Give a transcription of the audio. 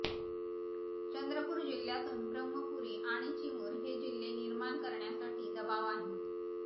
चंद्रपूर जिल्ह्यातून ब्रम्हपुरी आणि चिमूर हे जिल्हे निर्माण करण्यासाठी दबाव आहे